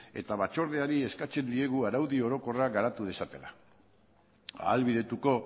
eta batzordeari eskatzen diegu araudi orokorra garatu dezatela ahalbidetuko